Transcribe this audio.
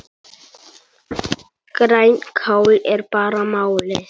Grænkál er bara málið!